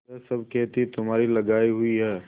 यह सब खेती तुम्हारी लगायी हुई है